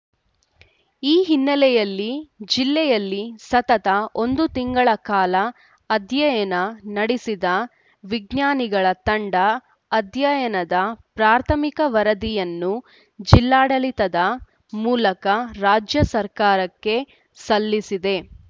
ಈ ಹಿನ್ನೆಲೆಯಲ್ಲಿ ಜಿಲ್ಲೆಯಲ್ಲಿ ಸತತ ಒಂದು ತಿಂಗಳ ಕಾಲ ಅಧ್ಯಯನ ನಡೆಸಿದ ವಿಜ್ಞಾನಿಗಳ ತಂಡ ಅಧ್ಯಯನದ ಪ್ರಾಥಮಿಕ ವರದಿಯನ್ನು ಜಿಲ್ಲಾಡಳಿತದ ಮೂಲಕ ರಾಜ್ಯ ಸರ್ಕಾರಕ್ಕೆ ಸಲ್ಲಿಸಿದೆ